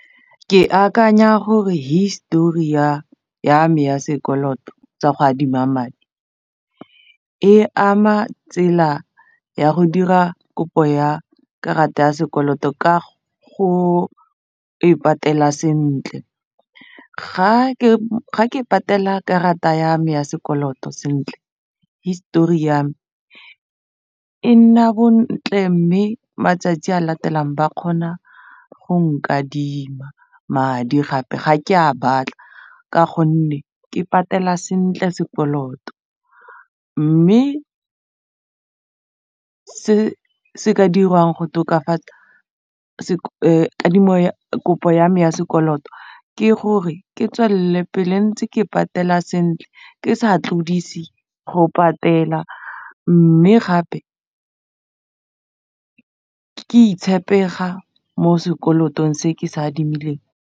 Ke akanya gore history ya ya me ya sekoloto tsa go adima madi e ama tsela ya go dira kopo ya karata ya sekoloto ka go e patela sentle ga ke patela karata ya me ya sekoloto sentle history ya me e nna bontle mme matsatsi a latelang ba kgona go nkadime madi gape ga ke a batla ka gonne ke patela sentle sekoloto mme se se ka dirwang go tokafatsa kadimo kopo ya me ya sekoloto ke gore ke tswelele pele ntse ke patela sentle ke sa tlodise go patela mme gape ke mo sekoloto se ke se adimileng.